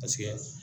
Paseke